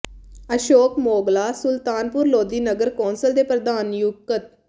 ਅਸ਼ੋਕ ਮੋਗਲਾ ਸੁਲਤਾਨਪੁਰ ਲੋਧੀ ਨਗਰ ਕੌਂਸਲ ਦੇ ਪ੍ਰਧਾਨ ਨਿਯੁਕਤ